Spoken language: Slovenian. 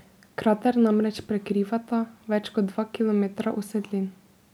Krater namreč prekrivata več kot dva kilometra usedlin.